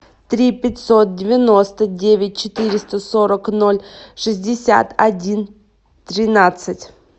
три пятьсот девяносто девять четыреста сорок ноль шестьдесят один тринадцать